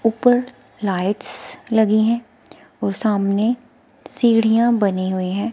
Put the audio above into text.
ऊपर लाइट्स लगी हैं और सामने सीढ़ियां बनी हुई हैं।